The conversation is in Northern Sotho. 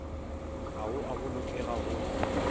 ga go a bolokega go